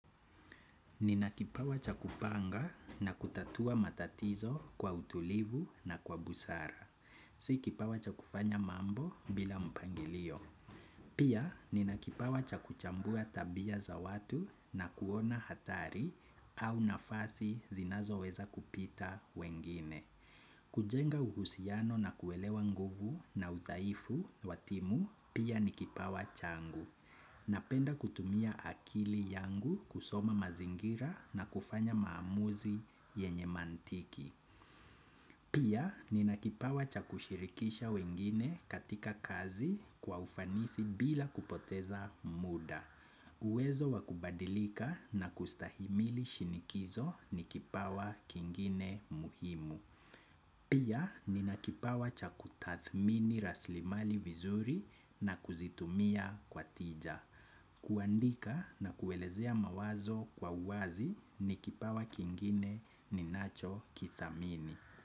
Nina kipawa cha kupanga na kutatua matatizo kwa utulivu na kwa busara. Si kipawa cha kufanya mambo bila mpangilio. Pia nina kipawa cha kuchambua tabia za watu na kuona hatari au nafasi zinazoweza kupita wengine. Kujenga uhusiano na kuelewa nguvu na udhaifu wa timu, pia ni kipawa changu. Napenda kutumia akili yangu kusoma mazingira na kufanya maamuzi yenye mantiki. Pia ni nakipawa cha kushirikisha wengine katika kazi kwa ufanisi bila kupoteza muda. Uwezo wa kubadilika na kustahimili shinikizo ni kipawa kingine muhimu. Pia nina kipawa cha kutathmini rasilimali vizuri na kuzitumia kwa tija. Kuandika na kuelezea mawazo kwa uwazi, ni kipawa kingine ninacho kithamini.